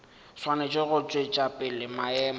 swanetše go tšwetša pele maemo